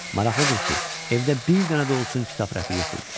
Maraqlıdır ki, evdə bir dənə də olsun kitab rəfi yox idi.